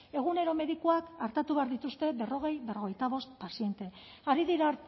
egunero medikuak artatu behar dituzte berrogei berrogeita bost paziente ari dira